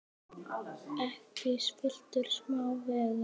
Ekki spilltu smá veigar.